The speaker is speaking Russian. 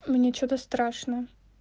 мне что-то страшно